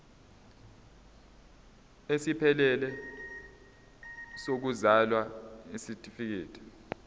esiphelele sokuzalwa isitifikedi